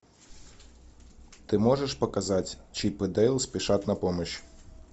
ты можешь показать чип и дейл спешат на помощь